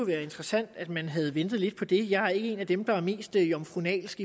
været interessant at man havde ventet lidt på det jeg er ikke en af dem der er mest jomfrunalsk